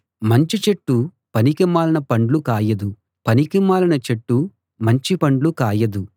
మంచి చెట్టు పనికిమాలిన పండ్లు కాయదు పనికిమాలిన చెట్టు మంచి పండ్లు కాయదు